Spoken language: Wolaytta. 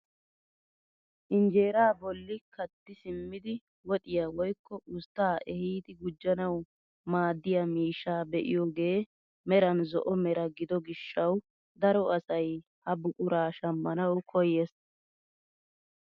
Injeeraa bolli katti simmidi woxiyaa woykko usttaa ehiidi gujjanawu maaddiyaa miishshaa be'iyooge meran zo"o mera gido gishshawu daro asay ha buquraa shammanawu koyees!